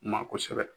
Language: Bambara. Ma kosɛbɛ